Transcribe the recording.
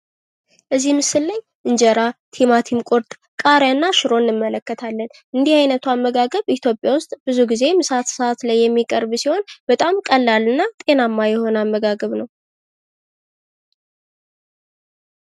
እዚህ ምስል ላይ እንጀራ ፣ ቲማቲም ቁርጥ፣ ቃሪያና ሽሮ እንመለከታለን። እንዲህ አይነቱ አመጋገብ ብዙ ጊዜ ኢትዮጵያ ውስጥ ምሳ ሰአት ላይ የሚቀርብ ሲሆን በጣም ቀላልና ጤናማ የሆነ አመጋገብ ነው።